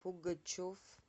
пугачев